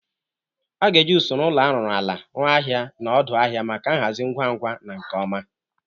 A ga-eji usoro ụlọ arụrụ ala rụo ahịa na odu ahịa maka nhazi ngwa ngwa na nke ọma.